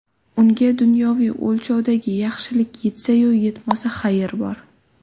Unga dunyoviy o‘lchovdagi yaxshilik yetsa-yu yetmasa, xayr bor.